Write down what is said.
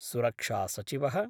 सुरक्षासचिवः